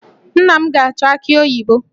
Nna m ga-achọ aki oyibo